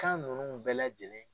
Kan ninnu bɛɛ lajɛlen.